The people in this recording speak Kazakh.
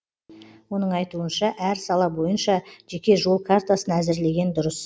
оның айтуынша әр сала бойынша жеке жол картасын әзірлеген дұрыс